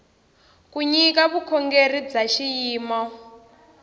ku nyika vukorhokeri bya xiyimo